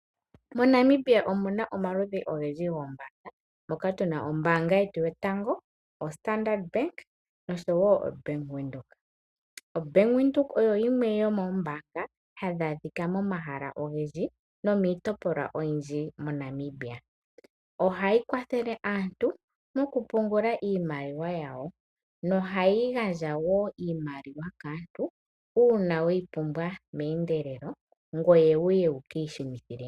MoNamibia omu na omaludhi ogendji goombaanga moka tu na Ombaanga Yotango Yopashigwana, oStandard Bank noshowo oBank Windhoek. OBank Windhoek oyo yimwe yomoombaanga hadhi adhika momahala ogendji nomiitopolwa oyindji moNamibia. Ohayi kwathele aantu okupungula iimaliwa yawo nohayi gandja wo iimaliwa kaantu uuna we yi pumbwa meendelelo.